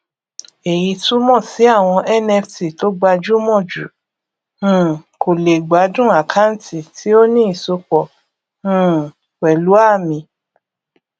èyí túmọ sí àwọn nft tó gbajúmọ jù um kò lè gbádùn àkáǹtì tí ó ní ìsopọ um pẹlú àmì